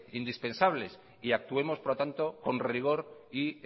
indispensables y actuemos por lo tanto con rigor y